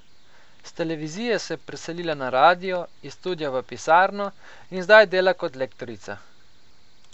S televizije se je preselila na radio, iz studia v pisarno, in zdaj dela kot lektorica.